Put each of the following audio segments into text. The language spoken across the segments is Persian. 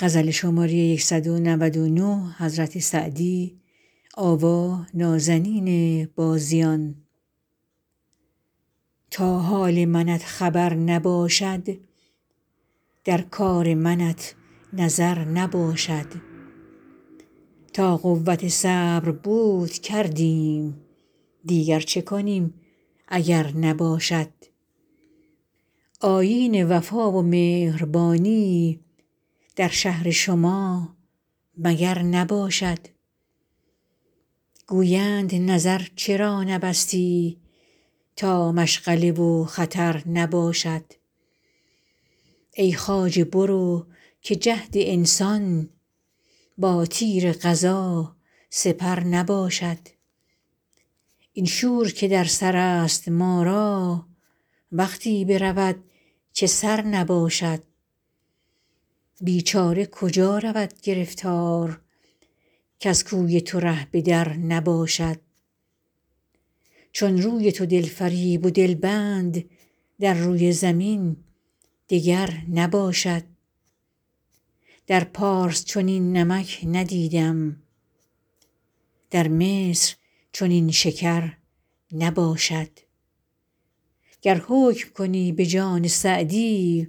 تا حال منت خبر نباشد در کار منت نظر نباشد تا قوت صبر بود کردیم دیگر چه کنیم اگر نباشد آیین وفا و مهربانی در شهر شما مگر نباشد گویند نظر چرا نبستی تا مشغله و خطر نباشد ای خواجه برو که جهد انسان با تیر قضا سپر نباشد این شور که در سر است ما را وقتی برود که سر نباشد بیچاره کجا رود گرفتار کز کوی تو ره به در نباشد چون روی تو دل فریب و دل بند در روی زمین دگر نباشد در پارس چنین نمک ندیدم در مصر چنین شکر نباشد گر حکم کنی به جان سعدی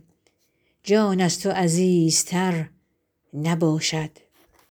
جان از تو عزیزتر نباشد